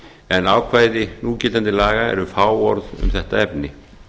en ákvæði núgildandi laga eru fáorð um þetta efni